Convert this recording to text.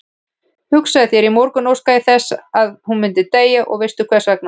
Hugsaðu þér, í morgun óskaði ég þess að hún myndi deyja og veistu hversvegna?